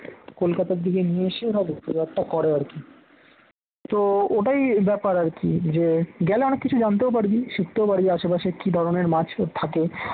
কলকাতার দিকে নিয়ে এসে এরা বিক্রি বাট্টা করে আর কি তো ওটাই ব্যাপার আর কি যে গেলে অনেক কিছু জানতেও পারবি শিখতেও পারবি আশেপাশে কি ধরনের মাছ থাকে